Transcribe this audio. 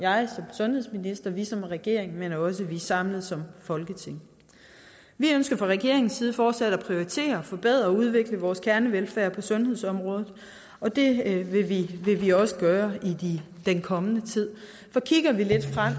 sundhedsminister og vi som regering men også vi samlet som folketing vi ønsker fra regeringens side fortsat at prioritere og forbedre og udvikle vores kernevelfærd på sundhedsområdet og det vil vi også gøre i den kommende tid for kigger vi lidt frem